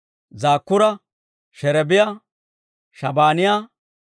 Zakkuura, Sherebiyaa, Shabaaniyaa,